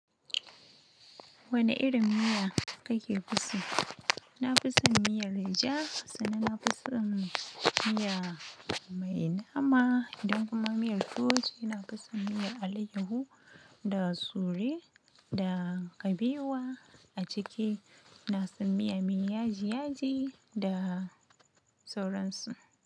Wane irin miya kake fi so? Na fison miyar leja, sannan na fison miya mai nama idan kuma miyar tuwo ce, na fi son miyar alayyahu da sure da kabewa. A ciki na son miya mai yaji yaji da sauransu.